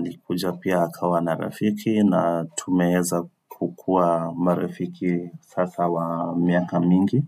ni kuja pia akawa na rafiki na tumeweza kukua marafiki sasa wa miaka mingi.